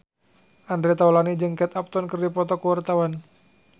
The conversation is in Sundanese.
Andre Taulany jeung Kate Upton keur dipoto ku wartawan